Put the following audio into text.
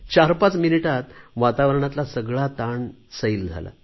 चारपाच मिनिटांतच वातावारणातला सगळा ताण सैल झाला